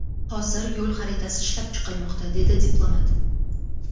Hozir yo‘l xaritasi ishlab chiqilmoqda”, dedi diplomat.